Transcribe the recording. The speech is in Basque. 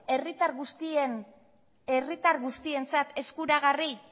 herritar guztientzat eskuragarri